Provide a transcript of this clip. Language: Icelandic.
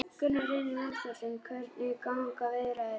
Gunnar Reynir Valþórsson: Hvernig ganga viðræður?